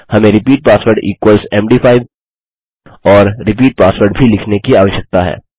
हमें repeat password equals मद5 और रिपीट पासवर्ड भी लिखने की आवश्यकता है